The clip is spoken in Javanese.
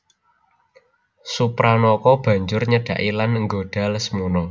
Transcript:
Supranaka banjur nyedhaki lan nggodha Lesmana